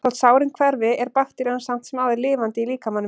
Þótt sárin hverfi er bakterían samt sem áður lifandi í líkamanum.